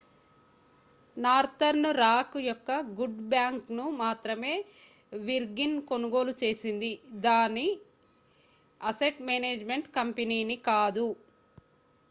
northern rock యొక్క 'good bank'ను మాత్రమే virgin కొనుగోలు చేసింది దాని అసెట్ మేనేజ్‌మెంట్ కంపెనీని కాదు